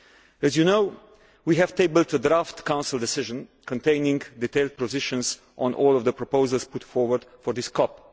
As you know, we have tabled a draft Council decision containing detailed positions on all of the proposals put forward for this COP.